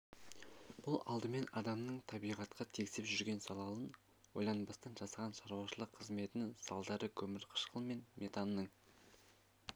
бұл алдымен адамның табиғатқа тигізіп жүрген залалын ойланбастан жасаған шаруашылық қызметінің салдары көмірқышқыл мен метанның